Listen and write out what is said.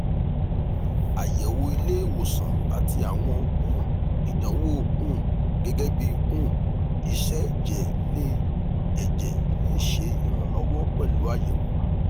ayẹwo ile-iwosan ati awọn um idanwo um gẹgẹbi um iṣẹ ẹjẹ le ẹjẹ le ṣe iranlọwọ pẹlu ayẹwo